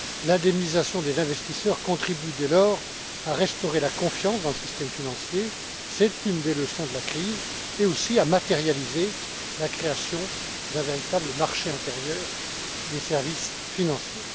L'indemnisation des investisseurs contribue dès lors à restaurer la confiance dans le système financier c'est une des leçons de la crise mais aussi à matérialiser la création d'un véritable marché intérieur des services financiers.